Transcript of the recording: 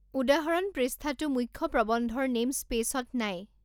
উদাহৰণ পৃষ্ঠাটো মুখ্য প্ৰবন্ধৰ নেইমস্পেইচত নাই।